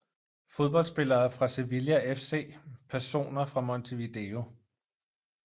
Fodboldspillere fra Sevilla FC Personer fra Montevideo